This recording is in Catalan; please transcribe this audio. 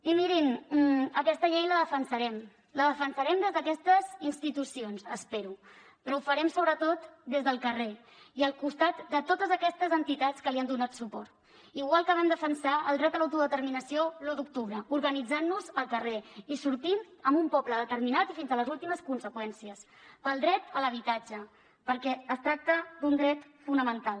i mirin aquesta llei la defensarem la defensarem des d’aquestes institucions espero però ho farem sobretot des del carrer i al costat de totes aquestes entitats que li han donat suport igual que vam defensar el dret a l’autodeterminació l’u d’octubre organitzant nos al carrer i sortint en un poble determinat i fins a les últimes conseqüències pel dret a l’habitatge perquè es tracta d’un dret fonamental